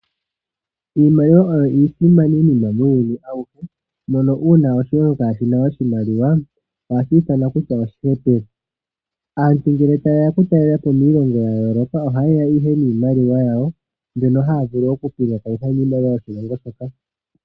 Iimaliwa oyo iisimaninima muuyuni awuhe mono uuna oshilongo kashina oshimaliwa ohashimonika oshihepele. Aantu ngele tayeya okutalelapo iilongo yayooloka ohaayi ihe niimaliwa yawo mbyono haavulu okupangakanitha miimaliwa yoshilongo shika.